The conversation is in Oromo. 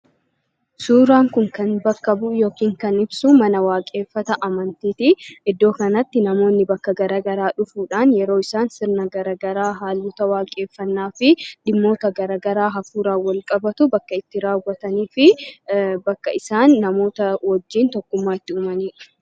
Suuraan Kun Kan bakka bu'u yookaan ibsu, mana waaqeffata amantiiti. Iddoo kanatti namoonni bakka garaagaraa dhufuudhaan yeroo isaan sirna garaagaraa, haalota waaqeffannaa fi dhimmoota garaagaraa hafuuraan wal qabatu bakka itti raawwatanii fi bakka isaan namoota wajjin tokkummaa itti uumanidha.